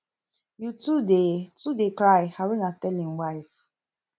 you too dey too dey cry haruna tell im wife